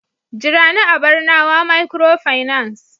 jira ni a barnawa microfinance